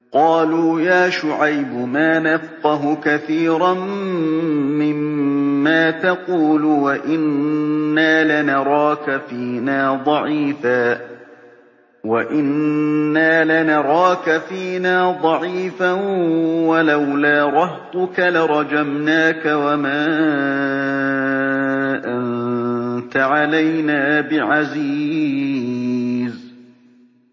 قَالُوا يَا شُعَيْبُ مَا نَفْقَهُ كَثِيرًا مِّمَّا تَقُولُ وَإِنَّا لَنَرَاكَ فِينَا ضَعِيفًا ۖ وَلَوْلَا رَهْطُكَ لَرَجَمْنَاكَ ۖ وَمَا أَنتَ عَلَيْنَا بِعَزِيزٍ